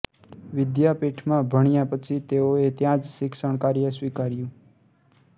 વિધ્યાપીઠમાં ભણ્યા પછી તેઓએ ત્યાં જ શિક્ષણ કાર્ય સ્વીકાર્યુ